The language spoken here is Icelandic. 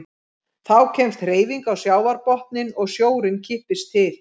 Þá kemst hreyfing á sjávarbotninn og sjórinn kippist til.